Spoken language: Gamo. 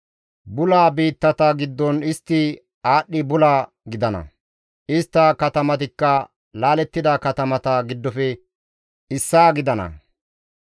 Bula biittata giddon istti aadhdhi bula gidana; istta katamatikka laalettida katamata giddofe issaa gidana.